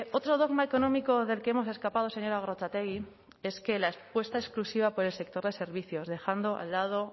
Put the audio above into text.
otro dogma económico del que hemos escapado señora gorrotxategi es la apuesta exclusiva por el sector de servicios dejando al lado